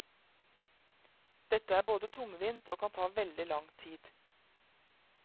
Dette er både tungvint og kan ta veldig lang tid.